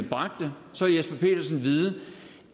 mig her